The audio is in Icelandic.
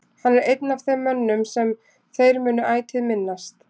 Hann er einn af þeim mönnum sem þeir munu ætíð minnast.